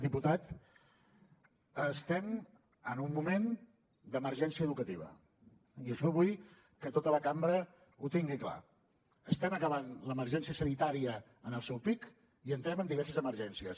diputat estem en un moment d’emergència educativa i això vull que tota la cambra ho tingui clar estem acabant l’emergència sanitària en el seu pic i entrem en diverses emergències